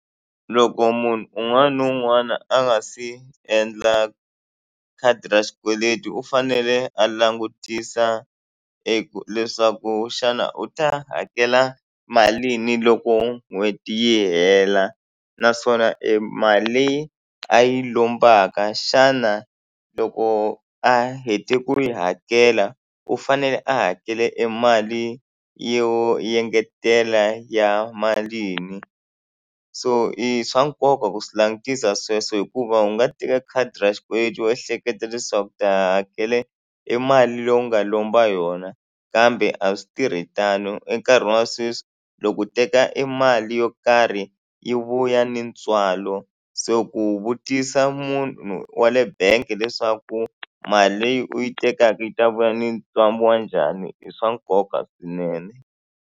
Loko munhu un'wana na un'wana a nga se endla khadi ra xikweleti u fanele a langutisa eku leswaku xana u ta hakela malini loko n'hweti yi hela naswona e mali leyi a yi lombaka xana loko a hete ku yi hakela u fanele a hakela emali yo engetela ya malini so i swa nkoka ku swi langutisa sweswo hikuva u nga teka khadi ra xikweleti u ehleketa leswaku u ta hakela i mali leyi u nga lomba yona kambe a swi tirhi tano enkarhini wa sweswi loko u teka i mali yo karhi yi vuya ni ntswalo se ku vutisa munhu wa le bangi leswaku mali leyi u yi tekaka yi ta vuya ni wa njhani i swa nkoka swinene.